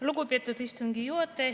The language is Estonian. Lugupeetud istungi juhataja!